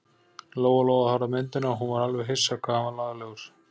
Lóa-Lóa horfði á myndina og hún var alveg hissa hvað hann var laglegur.